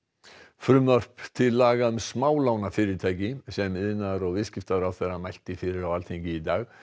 frumvarp til laga um smálánafyrirtæki sem iðnaðar og viðskiptaráðherra mælti fyrir á Alþingi í dag